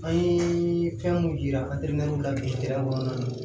An ye fɛn mun yira la